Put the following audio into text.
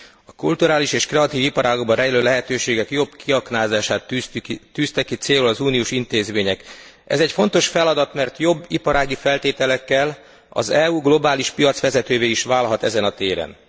A kulturális és kreatív iparágakban rejlő lehetőségek jobb kiaknázását tűzték ki célul az uniós intézmények. Ez egy fontos feladat, mert jobb iparági feltételekkel az EU globális piacvezetővé is válhat ezen a téren.